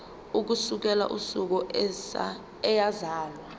ukusukela usuku eyazalwa